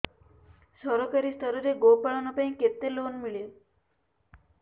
ସରକାରୀ ସ୍ତରରେ ଗୋ ପାଳନ ପାଇଁ କେତେ ଲୋନ୍ ମିଳେ